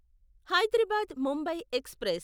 Hyderabad Mumbai express